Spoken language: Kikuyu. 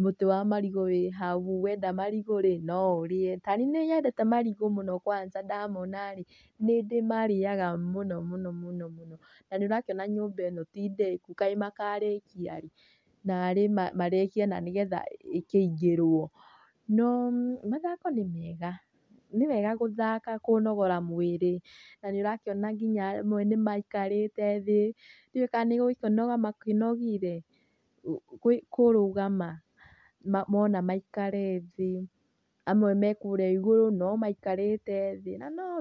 mũtĩ wa marigũ wĩ hau, wenda marigũ no ũrĩa. Ta nĩi nĩnyendete marigũ mũno kwansa ndamonarĩ nĩ ndĩmarĩyaga mũno mũno. Na nĩ ũrakĩona nyũmba ĩno ti ndĩku, kaĩ makarĩkia rĩ, narĩ marĩkie na nĩgetha ĩkĩingĩrwo. No mathako nĩ mega, nĩwega gũthaka kũnogora mwĩrĩ na nĩ ũrakĩona nginya amwe nĩ maĩkarĩte thĩ ndĩũĩ ka nĩ gũkĩnoga makĩnogire kũrũgama, mũna maĩkare thĩ, amwe me kũrĩa igũrũ no maĩkarĩte thĩ na nowega.